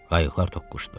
Qayıqlar toqquşdu.